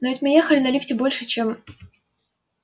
но ведь мы ехали на лифте больше чем